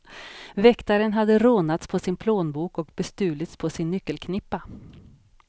Väktaren hade rånats på sin plånbok och bestulits på sin nyckelknippa.